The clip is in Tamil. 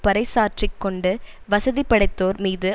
பறைசாற்றிக் கொண்டு வசதிபடைத்தோர் மீது